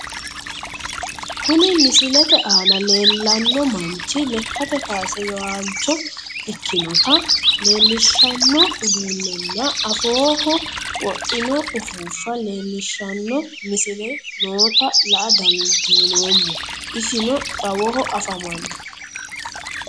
Kuni misilete aana leellanno manchi lekkate kaase yoaancho ikkinota leellishshanno uduunnenna afooho wodhino ufuuffa leellishshanno misile noota la'a dandinoommo isino xawaho afamanno.